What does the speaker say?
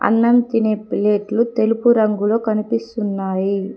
అన్నం తినే ప్లేట్లు తెలుపు రంగులో కనిపిస్తున్నాయి.